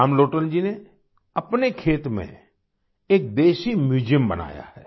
रामलोटन जी ने अपने खेत में एक देशी म्यूज़ियम बनाया है